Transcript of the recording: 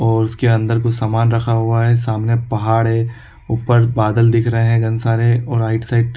ओर उसके अंदर कुछ समान रखा हुआ है सामने पहाड़ है ऊपर बादल दिख रहे है घन सारे ओर आइड- साइड --